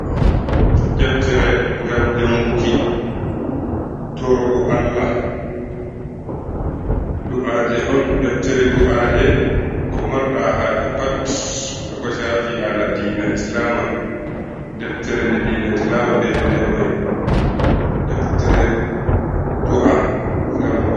Deftere ngam janguki, torogo Allah, do’aje on, deftere do’aje ko marɗa haaje pat, haako caafi haala diina islaama, deftere nde diina islaama bi eteende may, deftere do’a, ngam do'a.